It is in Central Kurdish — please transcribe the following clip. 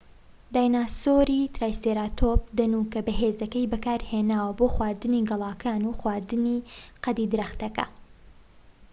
دایناسۆری ترایسێراتۆپ دەنوکە بەهێزەکەی بەکارهێناوە بۆ خواردنی گەڵاکان و خواردنی قەدی درەختەکە